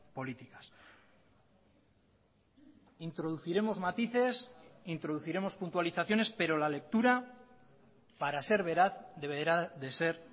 políticas introduciremos matices introduciremos puntualizaciones pero la lectura para ser veraz deberá de ser